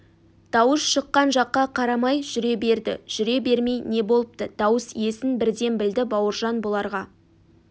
дауыс шыққан жаққа қарамай жүре берді жүре бермей не болыпты дауыс иесін бірден білді бауыржан бұларға